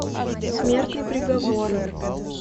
смертный приговор